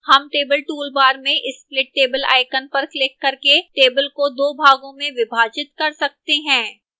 हम table toolbar में split table icon पर क्लिक करके table को 2 भागों में विभाजित कर सकते हैं